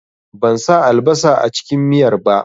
Ban sa albasa a cikin miyar ba